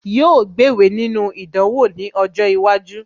Yóò gbéwèé nínú ìdánwò ní ọjọ́ iwájú